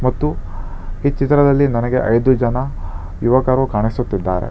ಮತ್ತು ಈ ಚಿತ್ರದಲ್ಲಿ ನನಗೆ ಐದು ಜನ ಯುವಕರು ಕಾಣಿಸುತ್ತಿದ್ದಾರೆ.